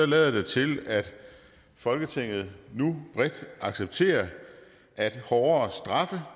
lader det til at folketinget nu bredt accepterer at hårdere straffe